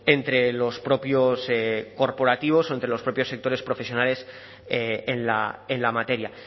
entre los propios corporativos o entre los propios sectores profesionales en la materia